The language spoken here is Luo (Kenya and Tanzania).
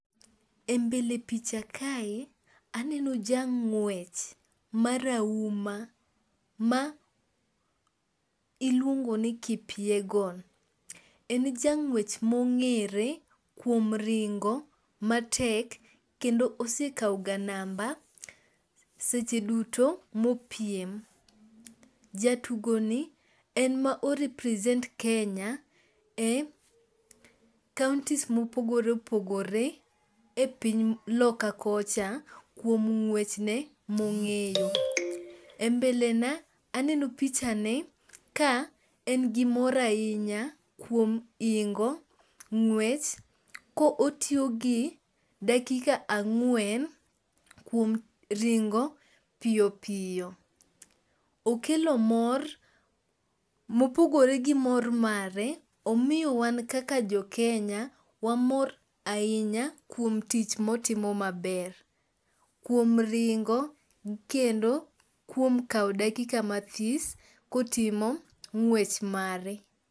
E mbele picha kae, aneno jang'wech marahuma ma iluongo ni Kipyegon. En jang'wech mong'ere kuom ringo matek kendo osekawoga namba seche duto mopiem. Jatugoni en ma o represent Kenya e kaontis mopogore opogore e piny loka kocha, kuom ng'wech ne mong'eyo . E mbele na aneno pichane ka en gi mor ahinya kuom hingo ng'wech kotiyo gi dakika ang'wen kuom ringo piyo piyo. Okelo mor mopogore gi mor mare, omiyo wan kaka jo Kenya, wamor ahinya kuom tich motimo maber, kuom ringo kendo kuom kawo dakika mathis kotimo ng'wech mare.